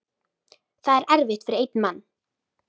Það er erfitt fyrir einn mann.